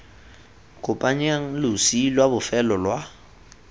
kopanyang losi lwa bofelo lwa